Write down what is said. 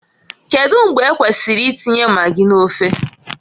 Kedu mgbe ekwesiri i tinye magi n'ofe?